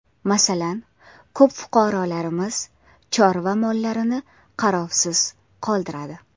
Masalan, ko‘p fuqarolarimiz chorva mollarini qarovsiz qoldiradi.